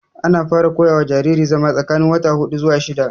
Ana fara koya wa jariri zama tsakanin wata hudu zuwa shidda